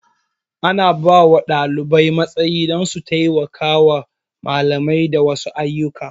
Ana bawa ɗalibai matsayi don su taimaka wa malami da wasu ayyuka